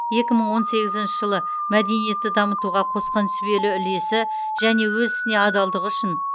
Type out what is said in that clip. екі мың он сегізінші жылы мәдениетті дамытуға қосқан сүбелі үлесі және өз ісіне адалдығы үшін